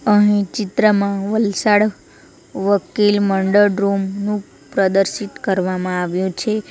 અહીં ચિત્રમાં વલસાડ વકીલ મંડળ રૂમ નું પ્રદર્શિત કરવામાં આવ્યું છે.